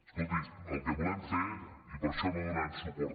escolti el que volem fer i per això no donarem suport